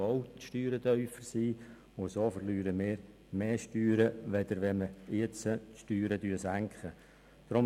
Auf diese Weise verlieren wir mehr Steuern, als wenn wir die Steuern jetzt senken würden.